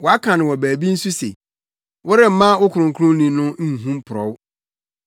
Wɔaka no wɔ baabi nso se, “ ‘Woremma wo Kronkronni no mporɔw.’